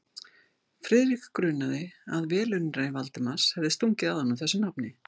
Friðrik grunaði, að velunnari Valdimars hefði stungið að honum þessu nafni.